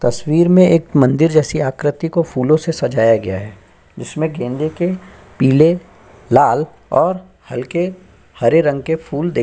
तस्वीर में एक मंदिर जैसी आकृति को फूलों से सजाया गया है जिसमें गेंदे के पीले लाल और हल्के हरे रंग के फूल देखे --